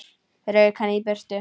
Rauk bara í burtu.